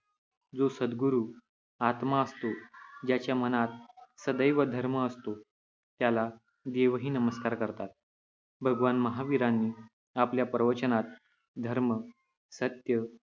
जो सद्गुरू आत्मा असतो, ज्याच्या मनात सदैव धर्म असतो, त्याला देवही नमस्कार करतात. भगवान महावीरांनी आपल्या प्रवचनात धर्म, सत्य,